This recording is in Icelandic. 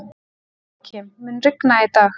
Jóakim, mun rigna í dag?